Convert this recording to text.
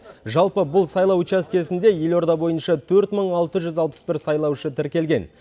жалпы бұл сайлау учаскесінде елорда бойынша төрт мың алты жүз алпыс бір сайлаушы тіркелген